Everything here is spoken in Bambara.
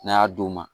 N'a y'a d'u ma